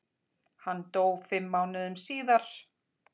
Hann dó fimm mánuðum síðar.